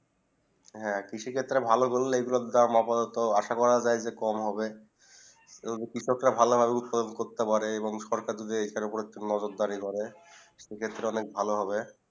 হেঁ কৃষি ক্ষেত্রে ভালো করলে এই গুলু দাম আসা করি কম হবে যাইবে এবং কৃষক রা ভালো ভাবে উতপাদন করতে পারে সরকার দের এইটা উপরে নজর ডাইরি করে এই ক্ষেত্রে অনেক ভালো হবে